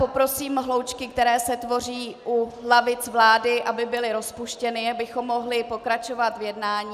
Poprosím hloučky, které se tvoří u lavic vlády, aby byly rozpuštěny, abychom mohli pokračovat v jednání.